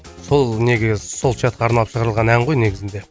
сол неге сол чатқа арналып шығарылған ән ғой негізінде